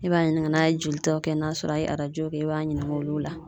E b'a ɲininka n'a ye jolitawkɛ, n'a sɔrɔ a ye arajo kɛ, i b'a ɲininka olu la.